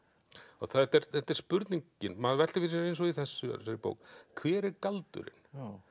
og þetta er þetta er spurningin maður veltir fyrir sér eins og í þessari bók hver er galdurinn